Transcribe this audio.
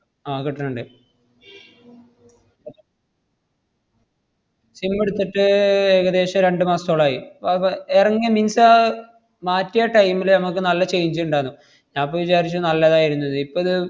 ആഹ് കിട്ടണ്ണ്ട് sim ഇടുത്തിട്ട് ഏർ ഏകദേശം രണ്ട് മാസത്തോളായി. വ~ വ~ എറങ്ങിയ മാറ്റിയ time ല് നമ്മക്ക് നല്ല change ഇണ്ടാര്ന്നു. ഞാ~ അപ്പൊ വിചാരിച്ചു നല്ലതായിരുന്ന്ന്ന്. ഇപ്പത്,